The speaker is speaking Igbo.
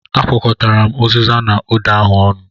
Akwọ̀kọtara m uziza na ụda ahụ ọnụ.